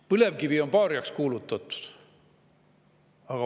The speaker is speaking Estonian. Põlevkivi on paariaks kuulutatud.